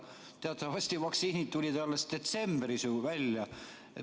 Teatavasti tulid vaktsiinid ju alles detsembris välja.